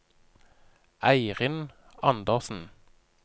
Eirin Andersen